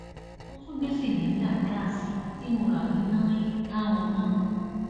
ó tún gbé cylinder gáàsì tí mo rà ní náin táwọn náà